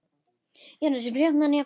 Jónas: Er fríhöfnin jafngóð?